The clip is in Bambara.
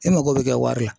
E mago bɛ kɛ wari la